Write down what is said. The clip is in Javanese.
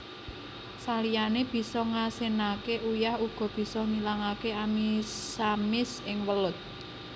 Saliyane bisa ngasinaké uyah uga bisa ngilangaké amisamis ing welut